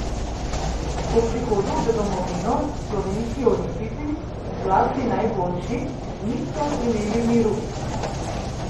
Po prihodu v domovino slovenski olimpijci, zlasti najboljši, niso imeli miru.